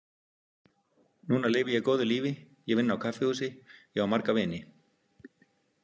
Núna lifi ég góðu lífi, ég vinn á kaffihúsi, ég á marga vini.